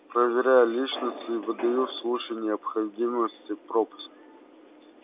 проверяю личность и выдаю в случае необходимости пропуск